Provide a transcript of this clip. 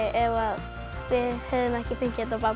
ef við hefðum ekki fengið þetta babb